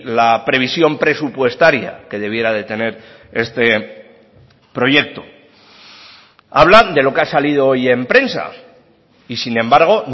la previsión presupuestaria que debiera de tener este proyecto hablan de lo que ha salido hoy en prensa y sin embargo